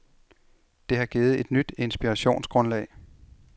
Det har givet et nyt inspirationsgrundlag.